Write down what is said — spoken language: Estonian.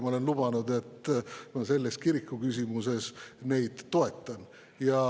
Ma olen lubanud, et selles kirikuküsimuses ma neid toetan.